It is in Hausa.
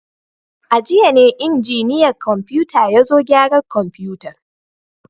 A jiya ne injiniyan kwamfuta ya zo gyara kwamfutar.